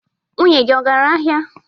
Nwunye gị agara ahịa?